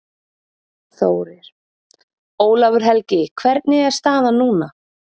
Þórir: Ólafur Helgi hvernig er staðan núna?